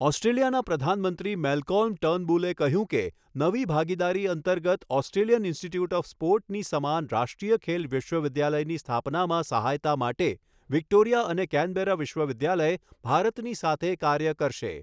ઑસ્ટ્રેલિયાના પ્રધાનમંત્રી મેલ્કોલ્મ ટર્નબુલે કહ્યું કે નવી ભાગીદારી અંતર્ગત ઑસ્ટ્રેલિયન ઈન્સ્ટીટ્યૂટ ઑફ સ્પોર્ટની સમાન રાષ્ટ્રીય ખેલ વિશ્વવિદ્યાલયની સ્થાપનામાં સહાયતા માટે વિક્ટોરિયા અને કૈનબરા વિશ્વવિદ્યાલય ભારતની સાથે કાર્ય કરશે.